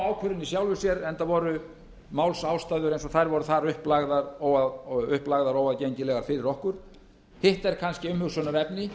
ákvörðun í sjálfu sér enda voru málsástæður eins og þær voru þar upplagðar óaðgengilegar fyrir okkur hitt er kannski umhugsunarefni